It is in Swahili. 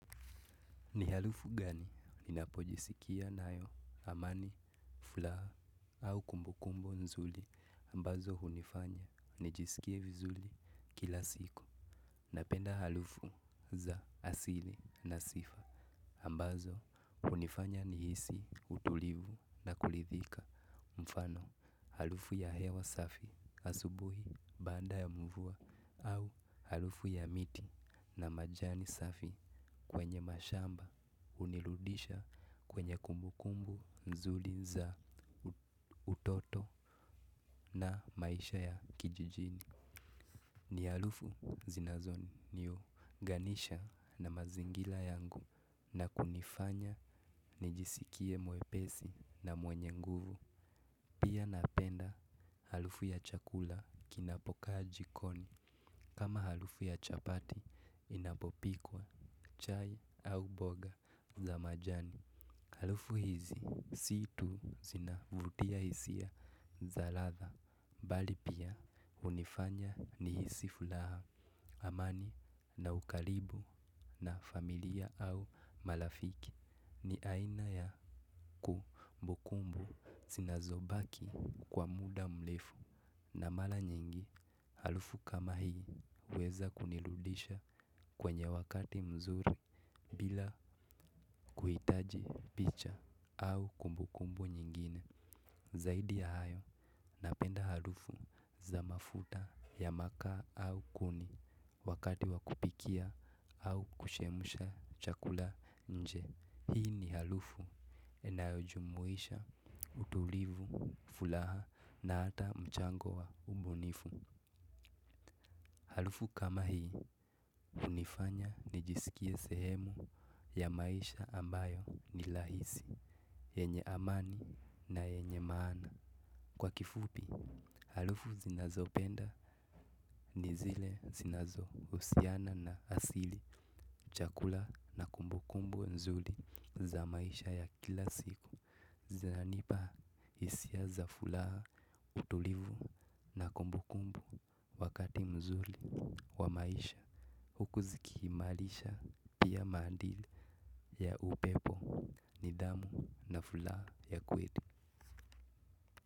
Ni harufu gani ninapojisikia nayo amani, furaha au kumbukumbu nzuri ambazo hunifanya nijisikie vizuri kila siku napenda harufu za asili na sifa ambazo hunifanya nihisi utulivu na kuridhika mfano, harufu ya hewa safi asubuhi baada ya mvua au harufu ya miti na majani safi kwenye mashamba hunirudisha kwenye kumbukumbu nzuri za utoto na maisha ya kijijini. Ni harufu zinazoniu nganisha na mazingira yangu na kunifanya nijisikie mwepesi na mwenye nguvu. Pia napenda harufu ya chakula kinapokaaji koni. Kama harufu ya chapati inapopikwa chai au mboga za majani. Harufu hizi siitu zinavutia hisia za ladha. Bali pia hunifanya ni hisifuraha amani na ukaribu na familia au marafiki ni aina ya kumbukumbu zina zobaki kwa muda mrefu na mara nyingi harufu kama hii uweza kunirudisha kwenye wakati mzuri bila kuhitaji picha au kumbukumbu nyingine. Zaidi ya hayo napenda harufu za mafuta ya makaa au kuni wakati wa kupikia au kuchemsha chakula nje hii ni harufu inayojumuisha utulivu, furaha na ata mchango wa ubunifu harufu kama hii hunifanya nijisikie sehemu ya maisha ambayo ni rahisi, yenye amani na yenye maana kwa kifupi, harufu zinazo penda ni zile zinazo husiana na asili chakula na kumbu kumbu nzuri za maisha ya kila siku. Zinanipa hisia za furaha utulivu na kumbu kumbu wakati mzuri wa maisha huku zikiimarisha pia maadili ya upepo nidhamu na furaha ya kweli.